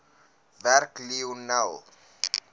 werk lionel